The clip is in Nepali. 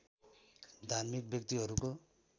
धार्मिक व्यक्तिहरूको